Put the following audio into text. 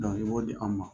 i b'o di anw ma